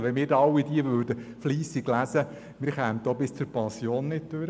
Wenn wir diese alle fleissig lesen würden, kämen wir auch bis zur Pensionierung nicht durch.